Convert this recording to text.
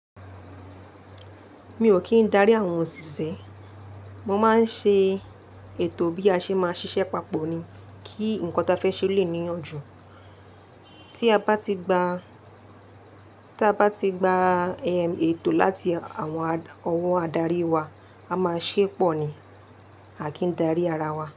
Mi ò kí ń darí àwọn òṣìṣẹ́. Mo máa ń ṣe ètò bí a ṣe máa ṣiṣẹ́ papọ̀ ni kí nǹkan ta fẹ́ ṣe lè níyanjú. Tí a bá ti gba, tí a bá ti gba ètò láti àwọn ọwọ́ adarí wa, a máa ṣépọ̀ ni, a kì í darí ara wa.